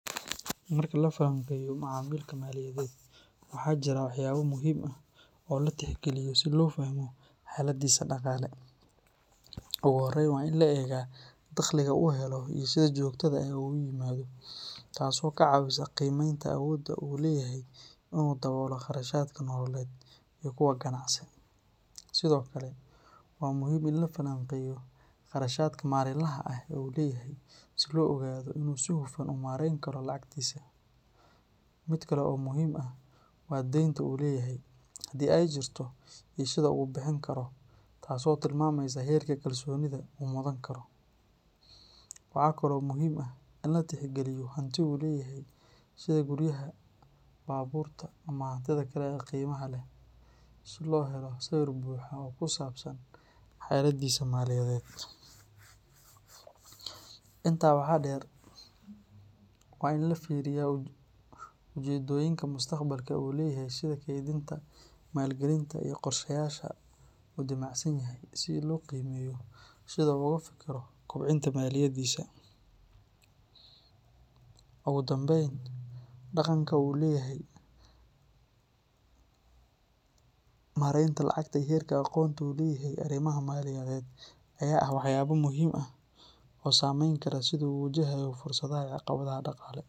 Marka la falanqeeyo macamilka maaliyadeed, waxaa jira waxyaabo muhiim ah oo la tixgeliyo si loo fahmo xaaladdiisa dhaqaale. Ugu horreyn, waa in la eegaa dakhliga uu helo iyo sida joogtada ah ee uu u yimaado, taasoo ka caawisa qiimeynta awoodda uu u leeyahay in uu daboolo kharashaadka nololeed iyo kuwa ganacsi. Sidoo kale, waa muhiim in la falanqeeyo kharashaadka maalinlaha ah ee uu leeyahay si loo ogaado in uu si hufan u maarayn karo lacagtiisa. Mid kale oo muhiim ah waa deynta uu leeyahay, hadii ay jirto, iyo sida uu u bixin karo, taasoo tilmaamaysa heerka kalsoonida uu mudan karo. Waxa kale oo muhiim ah in la tixgeliyo hanti uu leeyahay sida guryaha, baabuurta ama hantida kale ee qiimaha leh, si loo helo sawir buuxa oo ku saabsan xaaladdiisa maaliyadeed. Intaa waxaa dheer, waa in la fiiriyaa ujeeddooyinka mustaqbalka ee uu leeyahay sida kaydinta, maalgelinta iyo qorshayaasha uu damacsan yahay, si loo qiimeeyo sida uu uga fekero kobcinta maaliyaddiisa. Ugu dambeyn, dhaqanka uu u leeyahay maaraynta lacagta iyo heerka aqoonta uu u leeyahay arrimaha maaliyadeed ayaa ah waxyaabo muhiim ah oo saameyn kara sida uu u wajahayo fursadaha iyo caqabadaha dhaqaale.